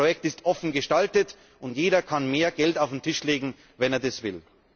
Das Projekt ist offen gestaltet, und jeder kann mehr Geld auf den Tisch legen, wenn er das will.